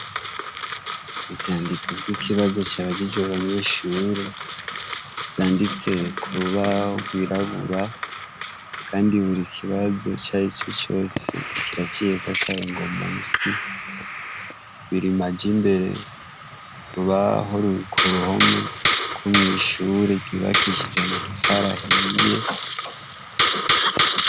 Ivyandiko vy'ikinazo cabajijwe abanyeshure, vyanditse kurubaho rw'irabura, Kandi buri kibazo icarico cose kiraciyeko akarongo munsi. Biri amaja imbere, urubaho ruri kuruhome rwo mw'ishure ryubakishije amatafari ahiye.